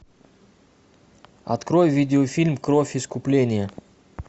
открой видеофильм кровь искупления